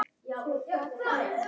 Ólík örlög.